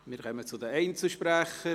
Wir kommen zu den Einzelsprechern: